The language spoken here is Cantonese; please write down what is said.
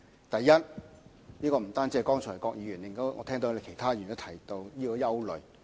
第一，不僅是郭議員，我剛才亦聽到其他議員也提到同樣的憂慮。